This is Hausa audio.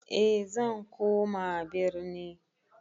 E zan koma birni